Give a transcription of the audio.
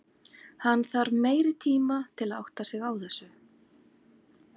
Hann þarf meiri tima til að átta sig á þessu.